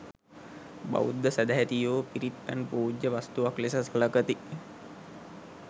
බෞද්ධ සැදැහැතියෝ පිරිත් පැන් පූජ්‍ය වස්තුවක් ලෙස සලකති.